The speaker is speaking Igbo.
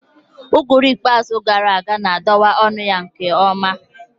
Uguru ikpeazụ gara aga na-adọwa ọnụ ya nke ọma